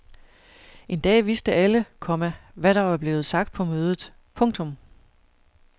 En dag vidste alle, komma hvad der var blevet sagt på mødet. punktum